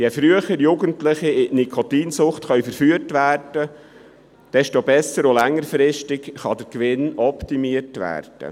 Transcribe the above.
Je früher Jugendliche in die Nikotinsucht verführt werden können, desto besser und längerfristig kann der Gewinn optimiert werden.